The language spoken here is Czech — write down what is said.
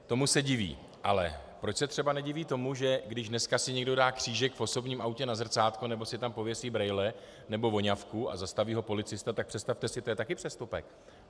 Tomu se diví, ale proč se třeba nediví tomu, že když dneska si někdo dá křížek v osobním autě na zrcátko nebo si tam pověsí brejle nebo voňavku a zastaví ho policista, tak představte si, to je taky přestupek.